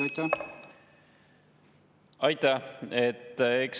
Aitäh!